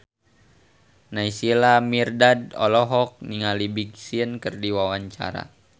Naysila Mirdad olohok ningali Big Sean keur diwawancara